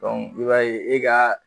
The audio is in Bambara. i b'a ye e ka